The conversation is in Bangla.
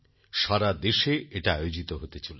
সারাদেশে এটা আয়োজিত হতে চলেছে